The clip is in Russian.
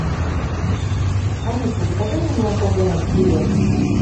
алиса закажи мне молоко домик в деревне